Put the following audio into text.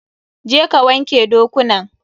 Je ka wanke dokunan!